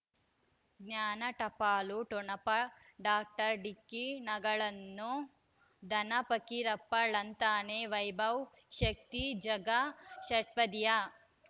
ಜ್ಞಾನ ಟಪಾಲು ಠೊಣಪ ಡಾಕ್ಟರ್ ಢಿಕ್ಕಿ ಣಗಳನು ಧನ ಫಕೀರಪ್ಪ ಳಂತಾನೆ ವೈಭವ್ ಶಕ್ತಿ ಝಗಾ ಷಟ್ಪದಿಯ